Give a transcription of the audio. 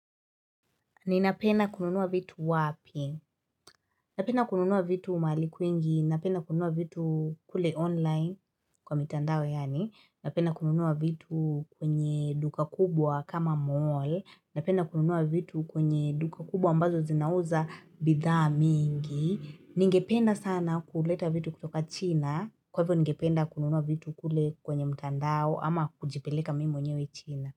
Ninapenda kununua vitu wapi? Napenda kununua vitu mahali kwingi. Napenda kununua vitu kule online kwa mitandao yaani. Napenda kununua vitu kwenye duka kubwa kama mall. Napenda kununua vitu kwenye duka kubwa ambazo zinauza bidhaa mingi. Ningependa sana kuleta vitu kutoka china. Kwa hivyo ningependa kununua vitu kule kwenye mtandao ama kujipeleka mimi mwenyewe china.